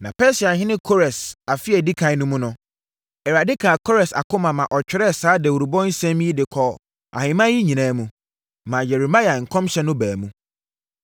Na Persiahene Kores afe a ɛdi ɛkan no mu no, Awurade kaa Kores akoma maa ɔtwerɛɛ saa dawurobɔ nsɛm yi de kɔɔ ahemman yi nyinaa mu, maa Yeremia nkɔmhyɛ no baa mu.